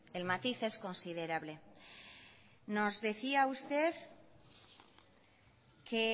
el matiz es considerable nos decía usted que